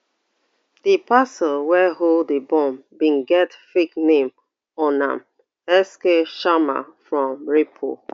di parcel wey hold d bomb bin get fake name on am sk sharma from raipur